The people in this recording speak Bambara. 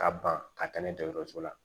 Ka ban ka taa n'a ye dɔgɔtɔrɔso la